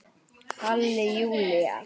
Halli Júlía!